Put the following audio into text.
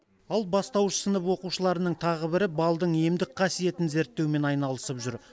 ал бастауыш сынып оқушыларының тағы бірі балдың емдік қасиетін зерттеумен айналысып жүр